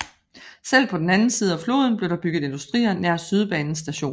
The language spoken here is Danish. Selv på den anden side af floden blev der bygget industrier nær sydbanens station